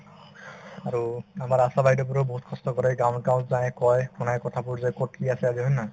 আৰু আমাৰ আশাবাইদেউবোৰেও বহুত কষ্ট কৰে গাওঁত গাওঁত যায় কই শুনাই কথাবোৰ যে কত কি আছে আজি হয় নে নহয়